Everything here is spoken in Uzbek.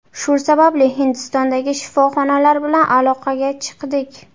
Shu sababli Hindistondagi shifoxonalar bilan aloqaga chiqdik.